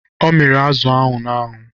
Ọ miri azụ ahụ n'anwụ.